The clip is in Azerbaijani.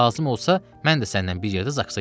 Lazım olsa, mən də səninlə bir yerdə Zaksa gedərəm.